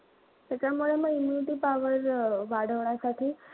त्याच्यामुळे म immunty power वाढवण्यासाठी,